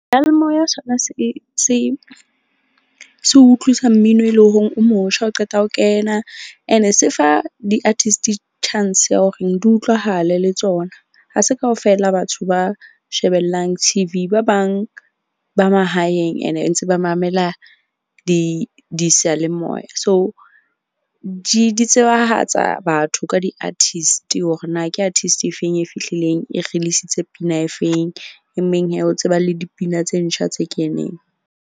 Seyalemoya sona se utlwisa mmino, e leng horeng o motjha o qeta ho kena. Ene se fa di-artist chance ya hore di utlwahale le tsona. Ha se kaofela batho ba shebellang T_V. Ba bang ba mahaeng ene ntse ba mamela diseyalemoya. So, di tsebahatsa batho ka di-artist-i hore na ke artist efeng e fihlileng, e release-itse pina e feng. E meng o tseba le dipina tse ntjha tse keneng.